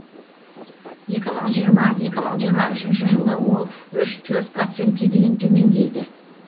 екі мың жиырма екі мың жиырма үшінші жылы ол үш төрт процентке дейін төмендейді